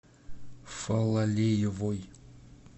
фалалеевой